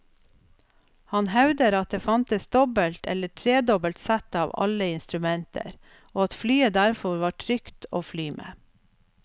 Han hevder at det fantes dobbelt eller tredobbelt sett av alle instrumenter, og at flyet derfor var trygt å fly med.